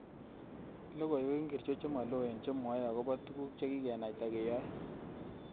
Logoywek ngircho chemaloen chemwae agoba tuguk chegigenaita keyoe